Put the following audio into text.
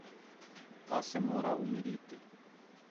Da se mora umiriti.